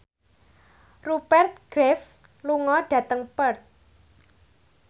Rupert Graves lunga dhateng Perth